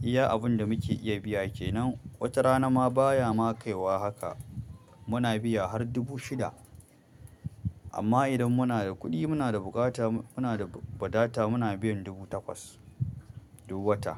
Iya, abin da muke iya biya ke nan. Wata rana ma baya ma kaiwa haka. Biya har dubu shida amma idan muna da kuɗi, muna da bukata, muna da ba data muna biyan dubu takwas duk wata.